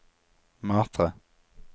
Matre